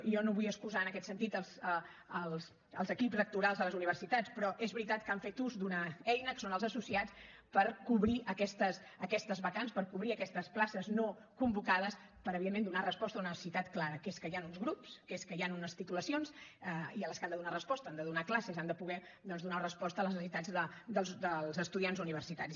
i jo no vull excusar en aquest sentit els equips rectorals de les universitats però és veritat que han fet ús d’una eina que són els associats per cobrir aquestes vacants per cobrir aquestes places no convocades per evidentment donar resposta a una necessitat clara que és que hi han uns grups que és que hi han unes titulacions a les quals han de donar resposta han de donar classes han de poder doncs donar resposta a les necessitats dels estudiants universitaris